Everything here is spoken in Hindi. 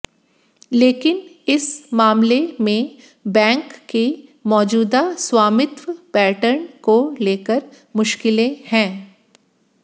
लेकिन इस मामले में बैंक के मौजूदा स्वामित्व पैटर्न को लेकर मुश्किलें हैं